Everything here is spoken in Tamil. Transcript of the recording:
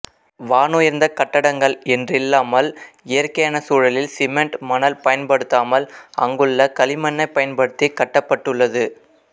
வானுயர்ந்த கட்டடங்கள் என்றில்லாமல் இயற்கையான சூழலில் சிமெண்ட் மணல் பயன்படுத்தாமல் அங்குள்ள களிமண்ணைப் பயன்படுத்தி கட்டப்பட்டுள்ளது